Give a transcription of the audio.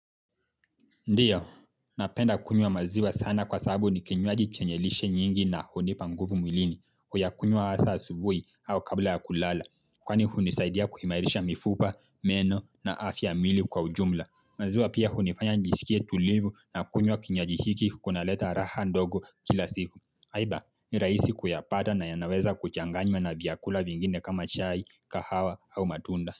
Ndiyo, napenda kunywa maziwa sana kwa sababu ni kinywaji chenye lishe nyingi na hunipa nguvu mwilini, huyakunywa asa asubui au kabla ya kulala. Kwani hunisaidia kuhimarisha mifupa, meno na afya ya mili kwa ujumla. Maziwa pia hunifanya nijisikie tulivu na kunywa kinywaji hiki kunaleta raha ndogo kila siku. Haiba, ni rahisi kuyapata na yana weza kuchanganywa na vyakula vingine kama chai, kahawa au matunda.